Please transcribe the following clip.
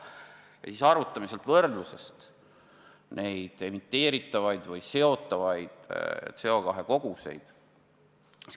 Ja siis arvutame neid emiteeritavaid ja seotavaid CO2 koguseid.